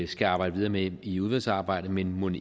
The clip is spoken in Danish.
skal arbejde videre med i udvalgsarbejdet men mon